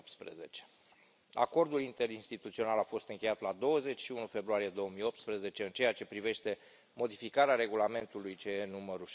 2018. Acordul interinstituțional a fost încheiat la 21 februarie 2018 în ceea ce privește modificarea Regulamentului CE nr.